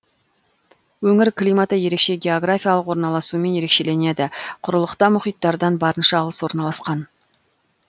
өңір климаты ерекше географиялық орналасуымен ерекшеленеді құрылықта мұхиттардан барынша алыс орналасқан